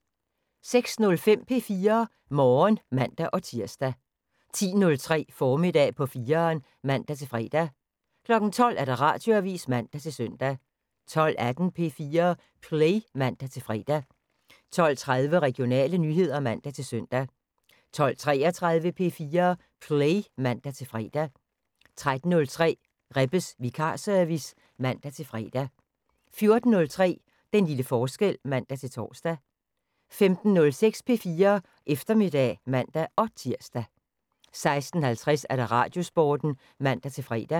06:05: P4 Morgen (man-tir) 10:03: Formiddag på 4'eren (man-fre) 12:00: Radioavisen (man-søn) 12:18: P4 Play (man-fre) 12:30: Regionale nyheder (man-søn) 12:33: P4 Play (man-fre) 13:03: Rebbes vikarservice (man-fre) 14:03: Den lille forskel (man-tor) 15:06: P4 Eftermiddag (man-tir) 16:50: Radiosporten (man-fre)